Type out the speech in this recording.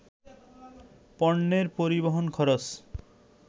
পণ্যের পরিবহন খরচ